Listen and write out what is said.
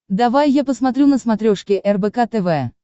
давай я посмотрю на смотрешке рбк тв